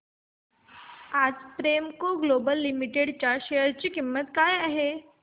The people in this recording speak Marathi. आज प्रेमको ग्लोबल लिमिटेड च्या शेअर ची किंमत काय आहे